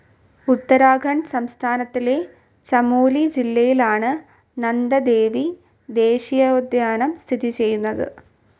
ഉത്തരാഖണ്ഡ് സംസ്ഥാനത്തിലെ ചമോലി ജില്ലയിലാണ് നന്ദദേവി ദേശീയോദ്യാനം സ്ഥിതി ചെയ്യുന്നത്